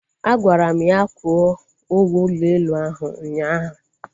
Agwara m ya kwụọ ụgwọ ụlọ elu ahụ ụnyaahụ